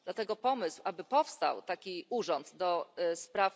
Dlatego pomysł, aby powstał taki urząd ds.